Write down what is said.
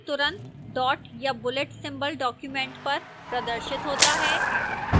तुरंत dot या bullet symbol document पर प्रदर्शित होता है